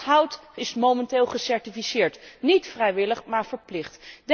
Hardhout is momenteel gecertificeerd, niet vrijwillig, maar verplicht.